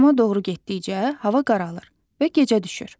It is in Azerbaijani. Axşama doğru getdikcə hava qaralır və gecə düşür.